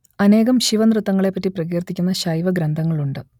അനേകം ശിവനൃത്തങ്ങളെപ്പറ്റി പ്രകീർത്തിക്കുന്ന ശൈവഗ്രന്ഥങ്ങളുണ്ട്